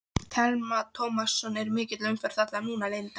Telma Tómasson: Er mikil umferð þarna núna Linda?